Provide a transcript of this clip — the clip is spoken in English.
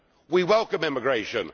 We welcome immigration.